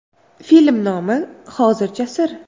Film nomi hozircha sir.